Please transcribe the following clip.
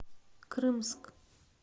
крымск